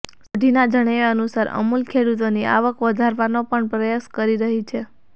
સોઢીના જણાવ્યા અનુસાર અમૂલ ખેડૂતોની આવક વધારવાનો પણ પ્રયાસ કરી રહી છે